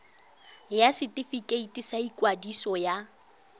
ya setefikeiti sa ikwadiso ya